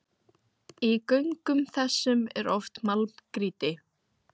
Í göngum þessum er oft málmgrýti.